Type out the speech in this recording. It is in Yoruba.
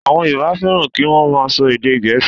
Àwọn Yorùbá fẹ́ràn kí wọ́n máa sọ èdè gẹ̀ẹ́sì.